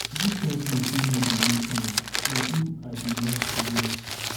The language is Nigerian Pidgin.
na dis kin cloth wey no dey make noise na im i dey like to wear